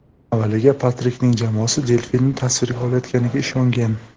Avvaliga Patrikning jamoasi delfinni tasvirga olayotganiga ishongan.